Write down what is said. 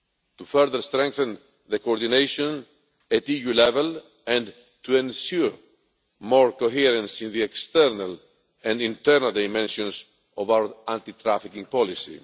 to further strengthen coordination at EU level and to ensure more coherence in the external and internal dimensions of our anti trafficking policy.